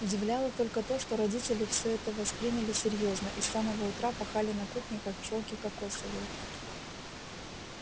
удивляло только то что родители всё это восприняли серьёзно и с самого утра пахали на кухне как пчёлки кокосовые